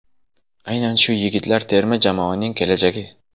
Aynan shu yigitlar terma jamoaning kelajagi.